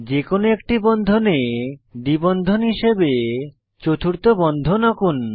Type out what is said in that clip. যে কোনো একটি বন্ধনে দ্বি বন্ধনে হিসাবে চতুর্থ বন্ধন আঁকুন